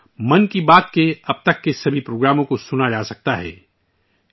یہاں، 'من کی بات' کے اب تک کے تمام ایپی سوڈ سنے جا سکتے ہیں